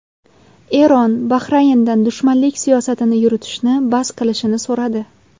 Eron Bahrayndan dushmanlik siyosatini yuritishni bas qilishini so‘radi.